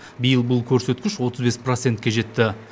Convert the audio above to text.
биыл бұл көрсеткіш отыз бес процентке жетті